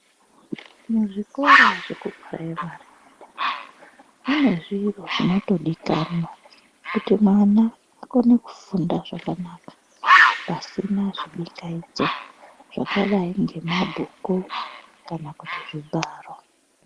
Muzvikora zvekupuraimarimwo mune zviro zvinotodikanwa kuti mwana akone kufunda zvakanaka pasina zvibingaidzo zvakadai ngemabhuku kana kuti zvibharo.